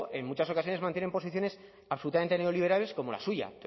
en muchas ocasiones mantienen posiciones absolutamente neoliberales como la suya